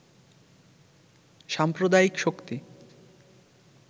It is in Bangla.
সাম্প্রদায়িক শক্তি